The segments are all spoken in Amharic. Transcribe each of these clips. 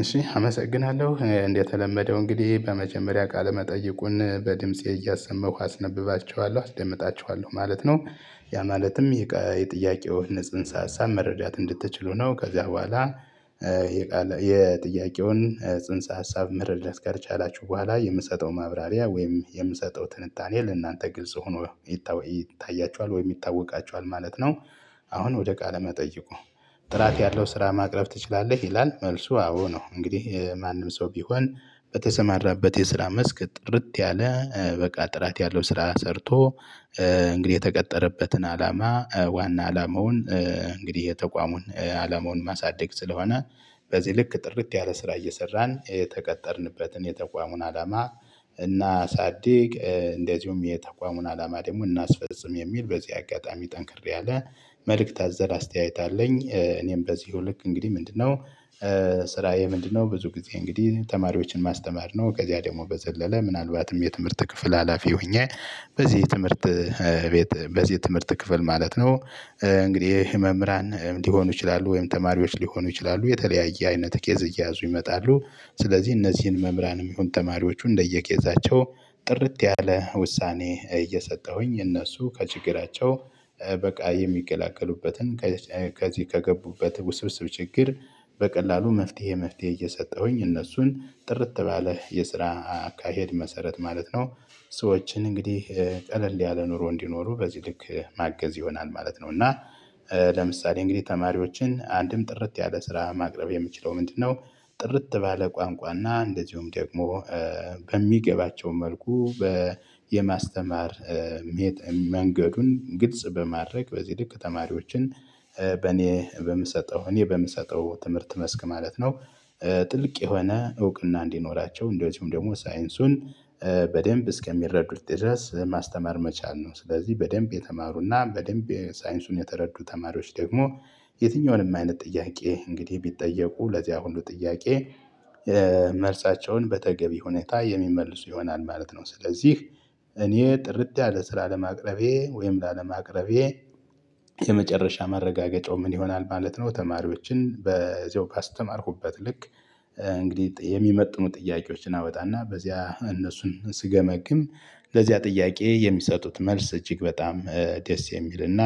እሺ አመሰግናለሁ እንደተለመደው እንግዲህ በመጀመሪያ ቃለ መጠይቁን በድምፄ እያሰመኩ አስነብባቸዋለሁ እደመጣቸዋለሁ ማለት ነው። ያ ማለትም የጥያቄው ንጽህን ሳሳብ መረዳት እንድትችሉ ነው ከዚያ በኋላ የጥያቄውን ጽንሰ ሀሳብ መረዳት ካልቻላችሁ በኋላ የምሰጠው ማብራሪያ ወይም የምሰጠው ትንታኔ ለእናንተ ግልጽ ሆኖ ይታያችዋል ወይ ይታወቃቸዋል ማለት ነው። አሁን ወደ ቃለ መጠይቁ? ጥራት ያለው ስራ ማቅረብ ትችላለህ ይላል መልሱ አዎ ነው። እንግዲህ ማንም ሰው ቢሆን በተሰማራበት የስራ መስክ ጥርት ያለ በቃ ጥራት ያለው ስራ ሰርቶ እንግዲህ የተቀጠረበትን አላማ ዋና አላማውን። እንግዲህ የተቋሙን አላማውን ማሳደግ ስለሆነ በዚህ ልክ ጥርት ያለ ስራ እየሰራን የተቀጠርንበትን የተቋሙን አላማ። እናሳድግ እንደዚሁም የተቋሙን አላማ ደግሞ እናስፈጽም የሚል በዚህ አጋጣሚ ጠንክርያለ መልእክት አዘል አስተያየት አለኝ። እኔም በዚሁ ልክ እንግዲህ ምንድነው? ስራዬ ምንድነው ብዙ ጊዜ እንግዲህ ተማሪዎችን ማስተማር ነው። ከዚያ ደግሞ በዘለለ ምናልባትም የትምህርት ክፍል ሀላፊ ሆኜ በዚህ የትምህርት ቤት በዚህ ትምህርት ክፍል ማለት ነው። እንግዲህ መምህራን ሊሆኑ ይችላሉ ወይም ተማሪዎች ሊሆኑ ይችላሉ የተለያየ አይነት ኬዝ እየያዙ ይመጣሉ። ስለዚህ እነዚህን መምህራን ነው የሚሆን ተማሪዎቹ እንደየኬዛቸው ጥርት ያለ ውሳኔ እየሰጠሁኝ እነሱ ከችግራቸው በቃ የሚገላገሉበትን። ከገቡበት ውስብስብ ችግር በቀላሉ መፍትሄ መፍትሄ እየሰጠሁኝ እነሱን ጥርት ባለ የስራ አካሄድ መሰረት ማለት ነው። ሰዎችን እንግዲህ ቀለል ያለ ኑሮ እንዲኖሩ በዚህ ልክ ማገዝ ይሆናል ማለት ነው። እና ለምሳሌ እንግዲህ ተማሪዎችን አንድም ጥርት ያለ ስራ ማቅረብ የምችለው ምንድነው? ጥርት ባለ ቋንቋና እንደዚሁም ደግሞ በሚገባቸው መልኩ በየማስተማር መንገዱን ግልጽ በማድረግ በዚህ ልክ ተማሪዎችን በኔ በምሰጠው እኔ በምሰጠው ትምህርት መስክ ማለት ነው። ጥልቅ የሆነ እውቅና እንዲኖራቸው እንደውም ደግሞ ሳይንሱን በደንብ እስከሚረዱት ድረስ ማስተማር መቻል ነው። ስለዚህ በደንብ የተማሩና በደንብ ሳይንሱን የተረዱ ተማሪዎች ደግሞ የትኛውንም አይነት ጥያቄ እንግዲህ ቢጠየቁ ለዚያ ሁሉ ጥያቄ መልሳቸውን በተገቢ ሁኔታ የሚመልሱ ይሆናል ማለት ነው። ስለዚህ እኔ ጥርት ያለ ስራ ለማቅረቤ ወይም ላለማቅረቤ የመጨረሻ መረጋገጫው ምን ይሆናል ማለት ነው። ተማሪዎችን በዚው ካስተማርኩበት ልክ እንግዲህ የሚመጥኑ ጥያቄዎችን አወጣና በዚያ እነሱን ስገመግም ለዚያ ጥያቄ የሚሰጡት መልስ እጅግ በጣም ደስ የሚልና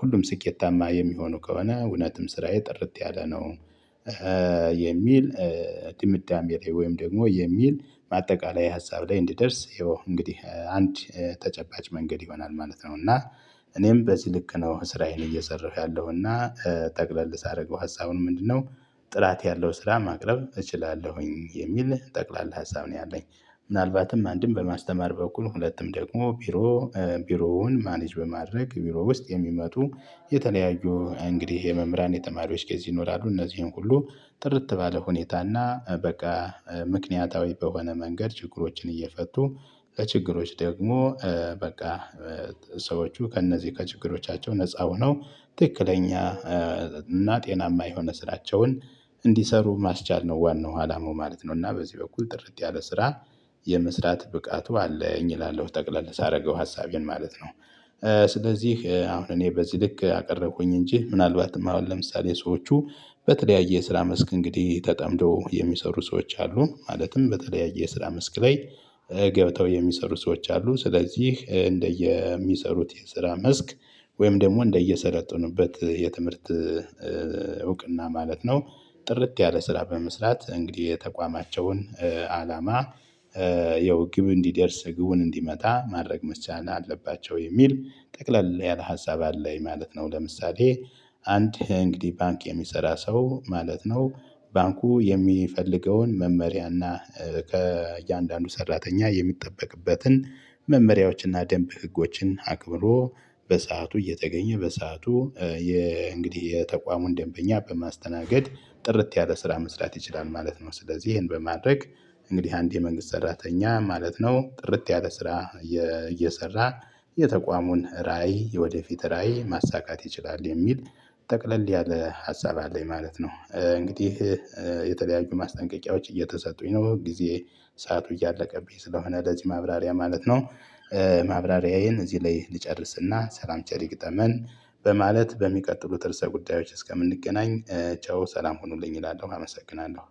ሁሉም ስኬታማ የሚሆኑ ከሆነ እውነትም ስራዬ ጥርት ያለ ነው። የሚል ድምዳሜ ወይም ደግሞ የሚል ማጠቃለያ ሀሳብ ላይ እንዲደርስ ይኸው እንግዲህ አንድ ተጨባጭ መንገድ ይሆናል ማለት ነው። እና እኔም በዚህ ልክ ነው እስራየን እየሰራሁ ያለውና ጠቅለል ሳደርገው ሀሳቡን ምንድነው? ጥላት ያለው ስራ ማቅረብ እችላለሁኝ የሚል ጠቅላላ ሀሳብ ነው ያለኝ። ምናልባትም አንድም በማስተማር በኩል ሁለቱም ደግሞ ቢሮ ቢሮውን ማኔጅ በማድረግ ቢሮ ውስጥ የሚመጡ የተለያዩ እንግዲህ የመምህራን የጠማሪዎች ኬዝ ይኖራሉ እነዚህን ሁሉ ጥርት ባለ ሁኔታና በቃ ምክንያታዊ በሆነ መንገድ ችግሮችን እየፈቱ ለችግሮች ደግሞ በቃ ሰዎቹ ከእነዚህ ከችግሮቻቸው ነፃ ሆነው ትክክለኛ እና ጤናማ የሆነ ስራቸውን እንዲሰሩ ማስቻል ነው ዋናው አላማው ማለት ነው። እና በዚህ በኩል ጥርጥ ያለ ስራ የምስራት ብቃቱ አለኝ እላለሁ ጠቅለል ሳደርገው ሀሳቤን ማለት ነው። ስለዚህ አሁን እኔ በዚህ ልክ አቀረብኩኝ እንጂ ምናልባትም አሁን ለምሳሌ ሰዎቹ በተለያየ የስራ መስክ እንግዲህ ተጠምደው የሚሰሩ ሰዎች አሉን ማለትም በተለያየ የስራ መስክ ላይ። ገብተው የሚሰሩ ሰዎች አሉ ስለዚህ እንደየሚሰሩት የስራ መስክ ወይም ደግሞ እንደየሰለጠኑበት የትምህርት እውቅና ማለት ነው። ጥርት ያለ ስራ በመስራት እንግዲህ የተቋማቸውን አላማ ያው ግብ እንዲደርስ ግቡን እንዲመታ ማድረግ መቻል አለባቸው የሚል ጠቅለል ያለ ሀሳብ አለኝ ማለት ነው። ለምሳሌ አንድ እንግዲህ ባንክ የሚሰራ ሰው ማለት ነው ባንኩ የሚፈልገውን መመሪያና ከእያንዳንዱ ሰራተኛ የሚጠበቅበትን መመሪያዎችንና ደንብ ህጎችን አክብሮ በሰአቱ እየተገኘ በሰአቱ የእንግዲህ የተቋሙን ደንበኛ በማስተናገድ ጥርት ያለ ስራ መስራት ይችላል ማለት ነው። ስለዚህ ይሄን በማድረግ እንግዲህ አንድ የመንግስት ሰራተኛ ማለት ነው ጥርት ያለ ስራ እየሰራ የተቋሙን ራዕይ ወደፊት ራዕይ ማሳካት ይችላል የሚል ጠቅለል ያለ ሀሳብ አለኝ ማለት ነው። እንግዲህ የተለያዩ ማስጠንቀቂያዎች እየተሰጡኝ ነው ጊዜ ሰዓቱ እያለቀብኝ ስለሆነ ለዚህ ማብራሪያ ማለት ነው። ማብራሪያዬን እዚህ ላይ ልጨርስና ሰላም ቸር ይግጠመን። በማለት በሚቀጥሉት እርስ ጉዳዮች እስከምንገናኝ ቻው ሰላም ሁኑልኝ እላለሁ አመሰግናለሁ